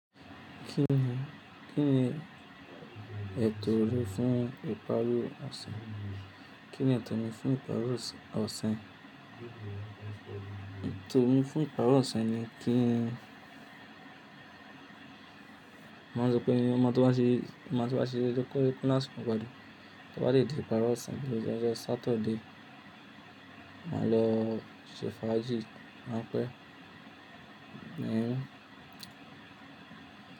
Kí ni, kí ni ètò rẹ fún ìparí ọ̀sẹ̀? Kí ni ètò mi fún ìparí ọ̀sẹ̀, ọ̀sẹ̀? Ètò mi fún ìparí ọ̀sẹ̀ ni kí n Máa sọ pé ní ọjọ́ ọmọ tó bá ṣe, ọjọ́ tó bá ṣe lọ́kùnrin Pínasì kò gbádùn, kí wọ́n lè dìde ìparí ọ̀sẹ̀. Ní ọjọ́ ọjọ́ Sátidé, màá lọ ṣe fàájì, màá pẹ́, ní.